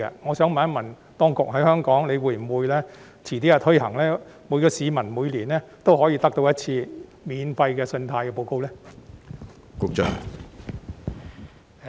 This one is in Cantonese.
我想問，當局日後會否在香港推行相關措施，讓每位市民每年免費索取信貸報告一次？